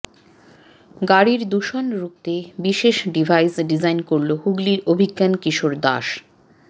গাড়ির দূষণ রুখতে বিশেষ ডিভাইস ডিজাইন করল হুগলির অভিজ্ঞান কিশোর দাস